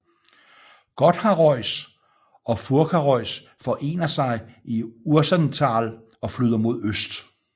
Gotthardreuss og Furkareuss forener sig i Urserental og flyder mod øst